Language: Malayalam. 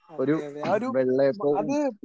അതെ അതെ ഒരു അത്